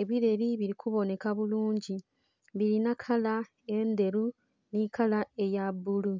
ebileli bili kubonheka bulungi, bilina kala endheru nhi kala eya bbulu.